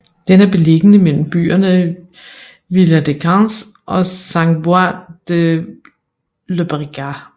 Den er beliggende mellem byerne Viladecans og Sant Boi de Llobregat